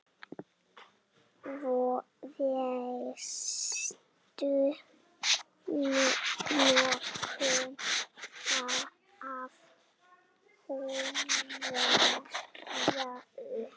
Veistu nokkuð af hverju?